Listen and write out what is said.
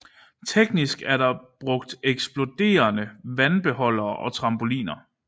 Teknisk er der brugt eksploderende vandbeholdere og trampoliner